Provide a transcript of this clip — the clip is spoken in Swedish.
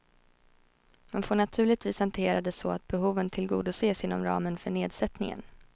Man får naturligtvis hantera det så att behoven tillgodoses inom ramen för nedsättningen.